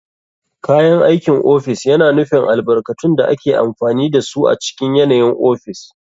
Kayan aikin ofis yana nufin albarkatun da ake amfani da su a cikin yanayin ofis.